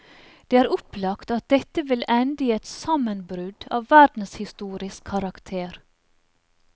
Det er opplagt at dette vil ende i et sammenbrudd av verdenshistorisk karakter.